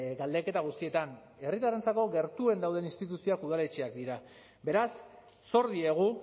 galdeketa guztietan herritarrentzako gertuen dauden instituzioak udaletxeak dira beraz zor diegu